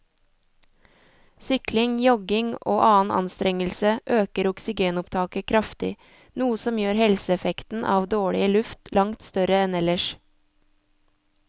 Sykling, jogging og annen anstrengelse øker oksygenopptaket kraftig, noe som gjør helseeffekten av dårlig luft langt større enn ellers.